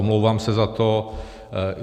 Omlouvám se za to.